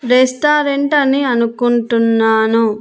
Restaurant అని అనుకుంటున్నాను.